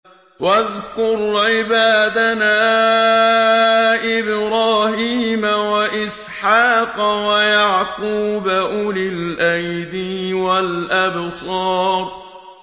وَاذْكُرْ عِبَادَنَا إِبْرَاهِيمَ وَإِسْحَاقَ وَيَعْقُوبَ أُولِي الْأَيْدِي وَالْأَبْصَارِ